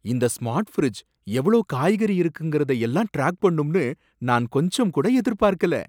இந்த smart fridge, எவ்ளோ காய்கறி இருக்குங்கிறத எல்லாம் ட்ராக் பண்ணும்னு நான் கொஞ்சம்கூட எதிர்பார்க்கல.